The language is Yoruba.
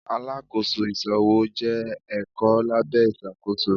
Alákóso ìṣòwò jẹ́ ẹ̀kọ́ lábẹ́ ìṣàkóso.